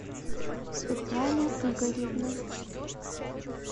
светлана игоревна